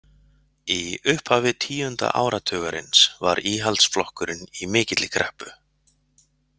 Í upphafi tíunda áratugarins var Íhaldsflokkurinn í mikilli kreppu.